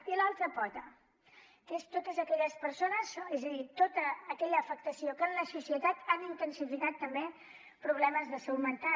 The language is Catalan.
i l’altra pota que és totes aquelles persones és a dir tota aquella afectació que en la societat han intensificat també problemes de salut mental